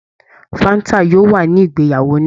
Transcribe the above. Fáńt yóò wà ní ìgbéyàwó náà.